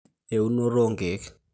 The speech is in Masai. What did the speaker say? eunoto oo ilkiek